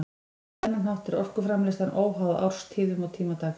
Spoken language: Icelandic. Á þennan hátt er orkuframleiðslan óháð árstíðum og tíma dags.